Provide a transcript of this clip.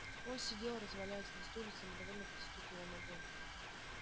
он сидел развалясь на стуле и самодовольно постукивал ногой